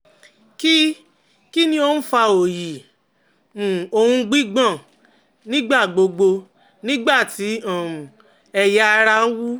Kí Kí ni ó ń fa oyi um òun gbigbon nígbà gbogbo nígbà tí um ẹ̀ya ara wú?